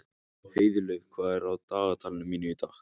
Heiðlaug, hvað er á dagatalinu mínu í dag?